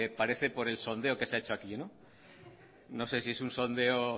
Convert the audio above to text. parece por el sondeo que se ha hecho aquí no sé si es un sondeo